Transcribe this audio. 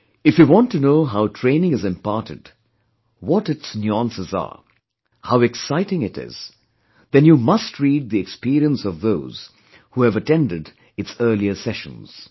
If you want to know how training is imparted, what its nuances are, how exciting it is, then you must read the experience of those who have attended its earlier sessions